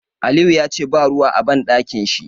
Aliyu yace ba ruwa a Banɗakin shi.